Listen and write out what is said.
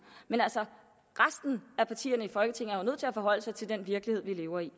men resten af partierne i folketinget er jo nødt til at forholde sig til den virkelighed vi lever i